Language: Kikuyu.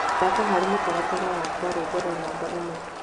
thaka hali mũtarara wakwa rwĩmbo rwa namba ĩmwe